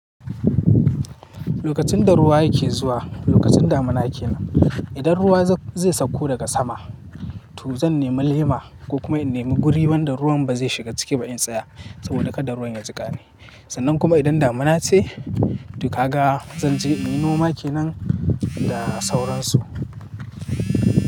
Lokacin da ruwa yake zuwa, lokacin damuna yake nan. Idan ruwa zai sauko daga sama, to zan nemi lema ko kuma in nemi guri wanda ruwan ba zai shiga ciki ba in tsaya saboda kada ruwan ya jika ni. Sannan kuma idan damuna ce, to kaga zan je inyi noma kenan da sauransu.